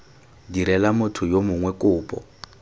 direla motho yo mongwe kopo